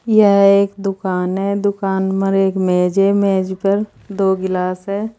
यह एक दुकान है। दुकान मर एक मेज है। मेज पर दो गिलास हैं।